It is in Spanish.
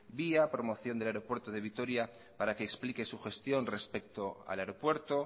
via promoción del aeropuerto de vitoria para que explique su gestión respecto al aeropuerto